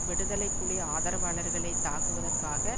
விடுதலை புலி ஆதரவாளர்களை தாக்குவதற்காக